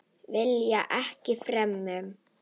Vilja ekkert fremur.